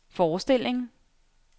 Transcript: forestilling